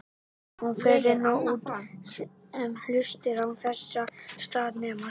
Hún fer inn og út um hlustir án þess að staðnæmast.